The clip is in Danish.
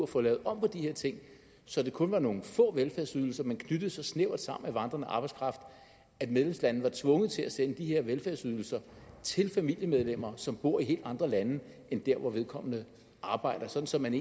få lavet om på de her ting så det kun var nogle få velfærdsydelser man knyttede så snævert sammen med vandrende arbejdskraft at medlemslandene var tvunget til at sende de her velfærdsydelser til familiemedlemmer som bor i helt andre lande end der hvor vedkommende arbejder og så man